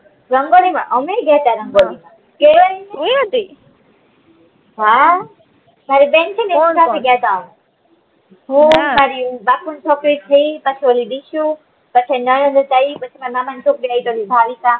રંગોળી માં અમેય ગયાતા રંગોળી માં કેવાય ની હમ મારી બેન છે ને એની સાથે ગયા હું ને મારી બાપુ ની છોકરી છે ઈ પછી ઓલી દીશું કઠે નાના જ હતા ઈ પછી મારા મામા ની છોકરી આઈ હતી ભાવિકા